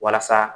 Walasa